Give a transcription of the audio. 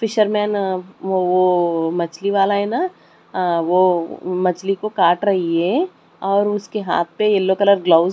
Fisher man वो मछली वाला है ना वो मछली को काट रही है और उसके हाथ पे येलो कलर गलोवेस --